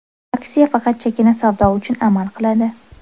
Aksiya faqat chakana savdo uchun amal qiladi.